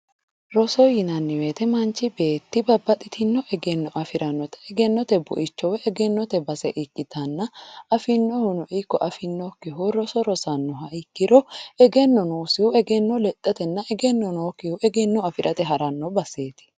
roso yinanni woyte manchi beetti babbaxitewo egenno afi'rannota egennote buicho woy egennote base ikkitanna afi'nohuno ikko afi'nokkihuno roso rosannoha ikkiro egenno noosihu egenno lexxatenna egenno noosikkihu egenno afi'rate haranno baseeti.